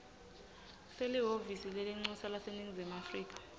selihhovisi lelincusa laseningizimu